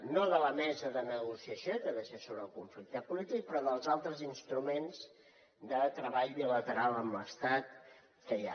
no de la mesa de negociació que ha de ser sobre el conflicte polític però dels altres instruments de treball bilateral amb l’estat que hi ha